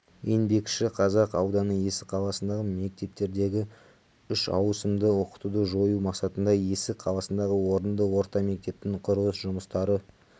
еңбекшіқазақ ауданы есік қаласындығы мектептердегі үшауысымды оқытуды жою мақсатында есік қаласындағы орынды орта мектептің құрылыс жұмыстары